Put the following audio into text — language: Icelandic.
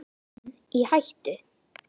Evran í hættu?